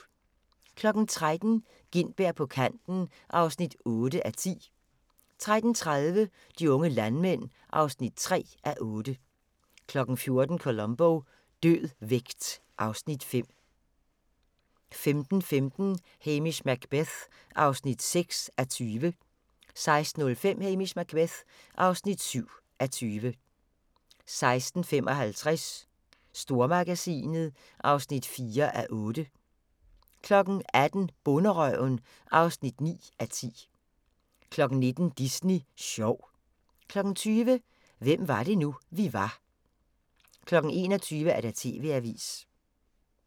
13:00: Gintberg på kanten (8:10) 13:30: De unge landmænd (3:8) 14:00: Columbo: Død vægt (Afs. 5) 15:15: Hamish Macbeth (6:20) 16:05: Hamish Macbeth (7:20) 16:55: Stormagasinet (4:8) 18:00: Bonderøven (9:10) 19:00: Disney Sjov 20:00: Hvem var det nu, vi var 21:00: TV-avisen